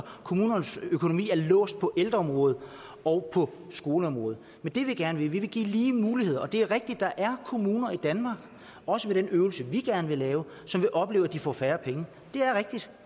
at kommunernes økonomi er låst på ældreområdet og på skoleområdet men det vi gerne vil er at give lige muligheder det er rigtigt at der er kommuner i danmark også ved den øvelse vi gerne vil lave som vil opleve at de får færre penge det